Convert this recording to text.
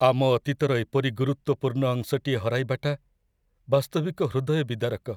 ଆମ ଅତୀତର ଏପରି ଗୁରୁତ୍ୱପୂର୍ଣ୍ଣ ଅଂଶଟିଏ ହରାଇବାଟା ବାସ୍ତବିକ ହୃଦୟବିଦାରକ।